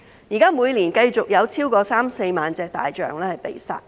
現時每年繼續有超過三四萬隻大象被殺。